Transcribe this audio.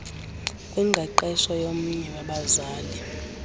kwingqeqesho yomnye wabazali